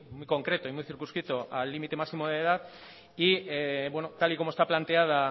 concreto y muy circunscrito al límite máximo de edad y tal y como está planteada